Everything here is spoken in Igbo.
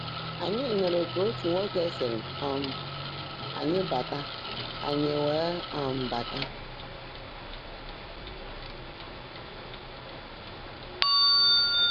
Ányị́ nụ́rụ́ kà ótú nwòké sị́rị́ um ányị́ bãtà, ányị́ weèé um bányé